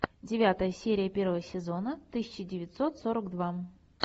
девятая серия первого сезона тысяча девятьсот сорок два